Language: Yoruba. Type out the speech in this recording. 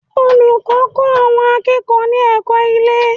Olùkọ́ ń kọ́ àwọn akẹ́kọ̀ọ́ ní ẹ̀kọ́ ilé